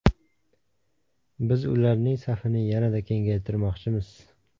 Biz ularning safini yanada kengaytirmoqchimiz.